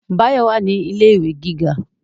Báyọ̀ wà ní ilé ìwé gíga